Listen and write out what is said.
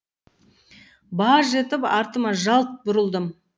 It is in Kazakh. баж етіп артыма жалт бұрылдым